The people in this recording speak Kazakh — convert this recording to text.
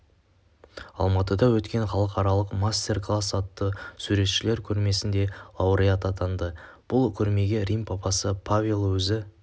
алматыда өткен халықаралық мастер класс атты суретшілер көрмесінде лауреат атанды бұл көрмеге рим папасы павел өзі